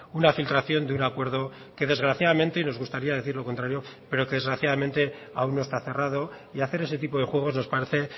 una filtración de un acuerdo que desgraciadamente y nos gustaría decir lo contrario pero que desgraciadamente aún no está cerrado y hacer ese tipo de juegos nos parece